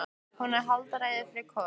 Hún er að halda ræðu yfir Kol: